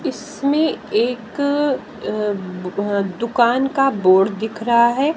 इसमें एक दुकान का बोर्ड दिख रहा है।